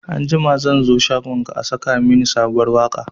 Anjima zan zo shagonka a saka mini sabuwar waka